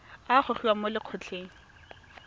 a a gogiwang mo lokgethong